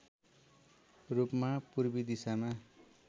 रूपमा पूर्वी दिशामा